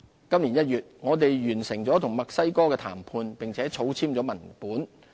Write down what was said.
今年1月，我們完成了與墨西哥的談判，並草簽了文本。